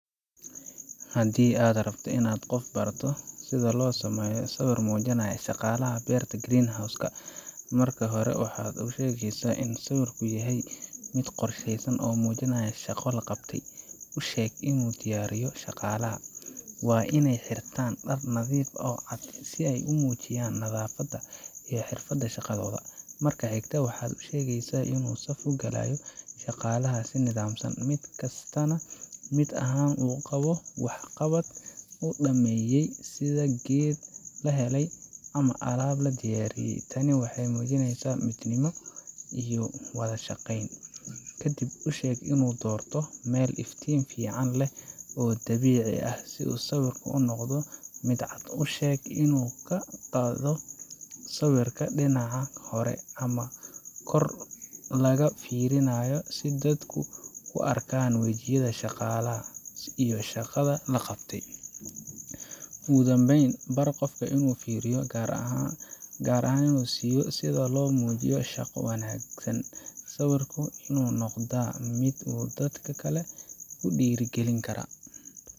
Haddii aad rabto inaad qof barato sida loo sameeyo sawir muujinaya shaqaalaha beerta greenhouse-ka, marka hore waxaad u sheegaysaa in sawirku yahay mid qorshaysan oo muujinaya shaqo la qabtay. U sheeg inuu diyaariyo shaqaalaha waa iney xirtaan dhar nadiif ah oo cad, si ay u muujiyaan nadaafadda iyo xirfadda shaqadooda. Marka xigta, waxaad u sheegaysaa inuu saf u galiyo shaqaalaha si nidaamsan, mid kasta oo ka mid ahna uu qabo waxqabad uu dhammeeyey, sida geed la beelay ama alaab la diyaariyey. Tani waxay muujinaysaa midnimo iyo wada shaqeyn. Ka dib, u sheeg inuu doorto meel iftiin fiican leh oo dabiici ah si sawirku u noqdo mid cad. U sheeg inuu ka qaado sawirka dhinaca hore ama kor laga fiirinayo, si dadku u arkaan wejiyada shaqaalaha iyo shaqada la qabtay. Ugu dambeyn, bar qofka in uu fiiro gaar ah siiyo sida loo muujiyo shaqo wanaagga sawirku waa inuu noqdaa mid dadka kale ku dhiirrigelin kara.